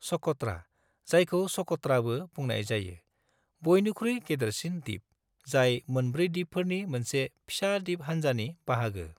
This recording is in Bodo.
सक'ट्रा, जायखौ सक'त्राबो ​​बुंनाय जायो, बयनिख्रुइ गेदेरसिन दिप, जाय मोनब्रै दिपफोरनि मोनसे फिसा दिप हानजानि बाहागो।